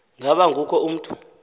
ngaba kukho mntu